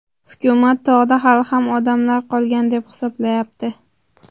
Hukumat tog‘da hali ham odamlar qolgan deb hisoblayapti.